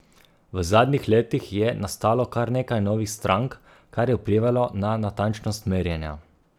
V zadnjih letih je nastalo kar nekaj novih strank, kar je vplivalo na natančnost merjenja.